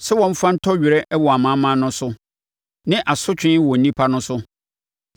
sɛ wɔmfa ntɔ werɛ wɔ amanaman no so ne asotwe wɔ nnipa no so,